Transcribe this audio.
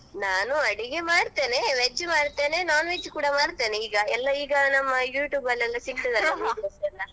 ನಾನು ಅಡಿಗೆ ಮಾಡ್ತೇನೆ veg ಮಾಡ್ತೇನೆ non-veg ಕೂಡ ಮಾಡ್ತೇನೆ ಈಗ ಎಲ್ಲಾ ಈಗ ನಮ್ಮ YouTube ಅಲ್ಲಿ ಎಲ್ಲ ಸಿಗ್ತದಲ್ಲಾ .